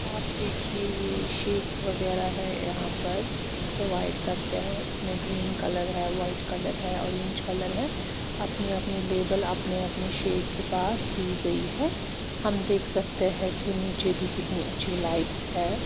आप देखिए ये वगैरा है यहां पर प्रोवाइड करते हैं इसमें ग्रीन कलर है वाइट कलर है ऑरेंज कलर है अपनी अपनी लेवल आपने अपने शेख के पास दी गई है हम देख सकते हैं कि नीचे भी कितनी अच्छी लाइट्स है।